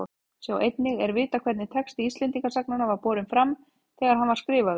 Sjá einnig Er vitað hvernig texti Íslendingasagnanna var borinn fram þegar hann var skrifaður?